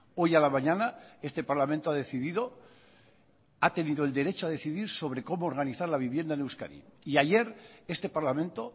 hoy a la mañana este parlamento ha decidido ha tenido el derecho a decidir sobre cómo organizar la vivienda en euskadi y ayer este parlamento